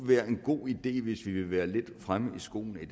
være en god idé hvis vi vil være lidt fremme i skoene i